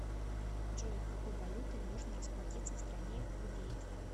джой какой валютой можно расплатиться в стране кувейт